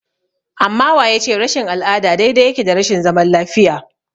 Amma wa ya ce rashin al'ada daidai yake da rashin zaman lafiya?